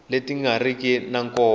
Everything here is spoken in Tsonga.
leti nga riki ta nkoka